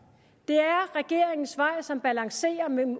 det er regeringens vej som balancerer mellem